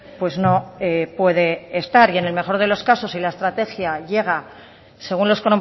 pues no puede estar y en el mejor de los casos si la estrategia llega según los